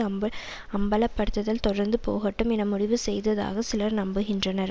அம்ப அம்பலப்படுத்தல் தொடர்ந்து போகட்டும் என முடிவு செய்ததாக சிலர் நம்புகின்றனர்